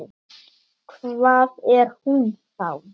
Hvað var hún þá?